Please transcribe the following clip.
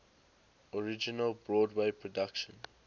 original broadway production